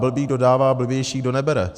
Blbý kdo dává, blbější kdo nebere.